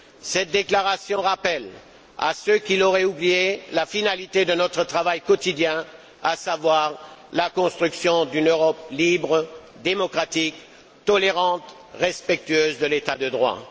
Cette déclaration rappelle à ceux qui l'auraient oubliée la finalité de notre travail quotidien, à savoir la construction d'une Europe libre, démocratique, tolérante, respectueuse de l'état de droit.